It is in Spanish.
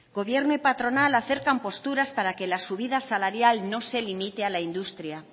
gobierno y patronal acercan posturas para que la subida salarial no se limite a la industria